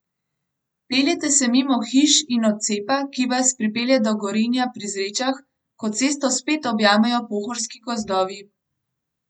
Peljete se mimo hiš in odcepa, ki vas pripelje do Gorenja pri Zrečah, ko cesto spet objamejo pohorski gozdovi.